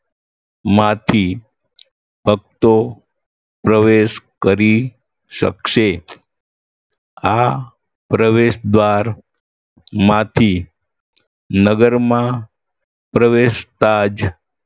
માંથી ભક્તો પ્રવેશ કરી શકશે આ પ્રવેશ દ્વારમાંથી નગરમાં પ્રવેશતા જ